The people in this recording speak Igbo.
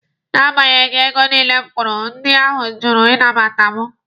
Na agbanyeghị ego niile m kwụrụ, ndị ahụ jụrụ ịnabata mụ.